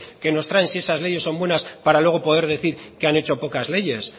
que nos traen si esas leyes son buenas para luego poder decir que han hecho pocas leyes